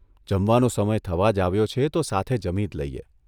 જમવાનો સમય થવા જ આવ્યો છે તો સાથે જમી જ લઇએ.